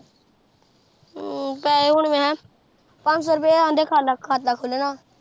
ਹਮ ਪੈਸੇ ਹੁਣ ਮੈਂ ਕਿਹਾ ਪੰਨ ਸੋ ਰੁਪੀਆ ਕਹਿੰਦੇ ਖਾਲਾ ਖਾਤਾ ਖੁੱਲਣਾ